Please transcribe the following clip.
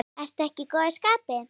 Ertu ekki í góðu skapi?